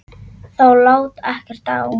Þá lá ekkert á.